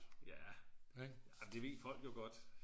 Ja det ved folk jo godt